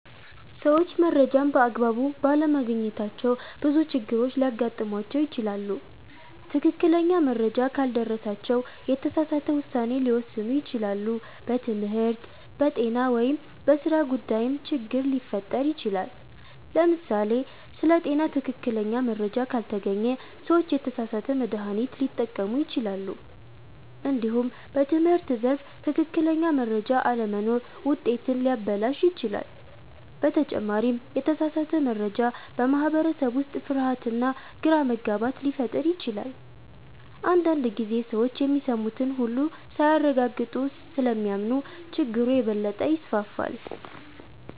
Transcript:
ሰዎች መረጃን በአግባቡ ባለማግኘታቸው ብዙ ችግሮች ሊያጋጥሟቸው ይችላሉ። ትክክለኛ መረጃ ካልደረሳቸው የተሳሳተ ውሳኔ ሊወስኑ ይችላሉ፣ በትምህርት፣ በጤና ወይም በሥራ ጉዳይም ችግር ሊፈጠር ይችላል። ለምሳሌ ስለ ጤና ትክክለኛ መረጃ ካልተገኘ ሰዎች የተሳሳተ መድሃኒት ሊጠቀሙ ይችላሉ። እንዲሁም በትምህርት ዘርፍ ትክክለኛ መረጃ አለመኖር ውጤትን ሊያበላሽ ይችላል። በተጨማሪም የተሳሳተ መረጃ በማህበረሰብ ውስጥ ፍርሃትና ግራ መጋባት ሊፈጥር ይችላል። አንዳንድ ጊዜ ሰዎች የሚሰሙትን ሁሉ ሳያረጋግጡ ስለሚያምኑ ችግሩ የበለጠ ይስፋፋል።